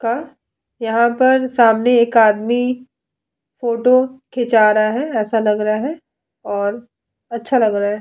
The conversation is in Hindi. का यहां पर सामने एक आदमी फोटो खींचा रहा है। ऐसा लग रहा है और अच्छा लग रहा है।